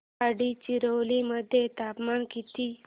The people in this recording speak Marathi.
गडचिरोली मध्ये तापमान किती